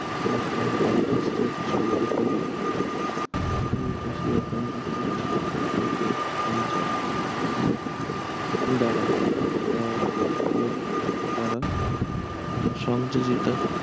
প্রশ্ন প্রান্তস্থ কিছু উপকূলীয় আহ এশিয়ার প্রান্তস্থ কিছু উপকূলীয় অঞ্চল দ্বারা আহ উপকূলীয় দ্বারা আহ সংযোজিত